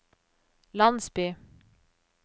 landsby